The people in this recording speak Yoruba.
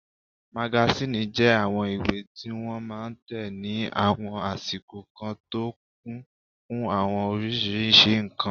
Magasíìnì jẹ́ àwọn ìwé tí wọ́n máa n tẹ ní àwọn àsìkò kan tó kún fún àwọn oríṣiríṣi ǹkan